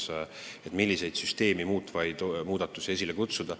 Tuleb püüda kokku leppida, milliseid süsteemi muutvaid muudatusi peaks tegema.